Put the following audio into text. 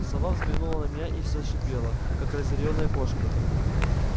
сова взглянула на меня и зашипела как разъярённая кошка